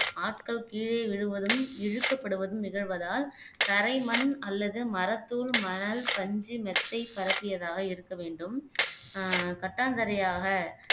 ஆட்கள் கீழே விழுவதும் இழுக்கப்படுவதும் நிகழ்வதால் தரைமண் அல்லது மரத்தூள் மணல் பஞ்சு மெத்தை பரப்பியதாக இருக்க வேண்டும் ஆஹ் கட்டாந்தரையாக